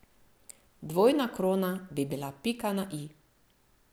Dvojna krona bi bila pika na i.